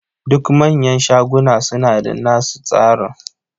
Duk manyan shaguna suna da nasu tsaron.